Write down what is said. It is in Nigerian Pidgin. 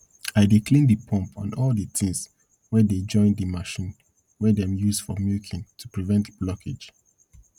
i dey clean de pump and all de tins wey dey join de machine wey dem use for milking to prevent blockage